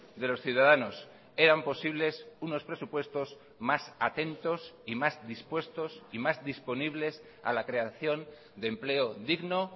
de los ciudadanos eran posibles unos presupuestos más atentos y más dispuestos y más disponibles a la creación de empleo digno